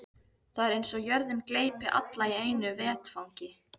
Það er eins og jörðin gleypi alla í einu vetfangi.